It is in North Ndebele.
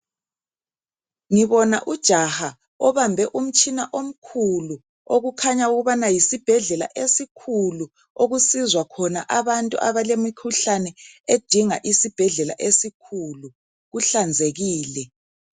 Ngibona ujaha obambe umtshina omkhulu okukhanya ukubana yisibhedlela esikhulu okusizwa khona abantu abalemikhuhlane edinga isibhedlela esikhulu, kuhlanzekile.